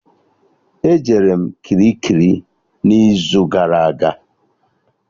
E jere m Kirikiri n'izu gara aga